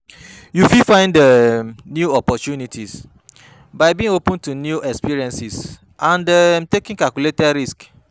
You fit find um new opportunities by being open to new experiences and um taking calculated risks.